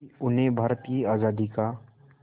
कि उन्हें भारत की आज़ादी का